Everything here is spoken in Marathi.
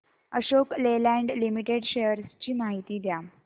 अशोक लेलँड लिमिटेड शेअर्स ची माहिती द्या